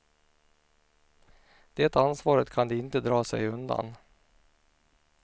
Det ansvaret kan de inte dra sig undan.